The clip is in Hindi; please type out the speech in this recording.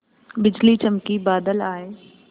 बिजली चमकी बादल आए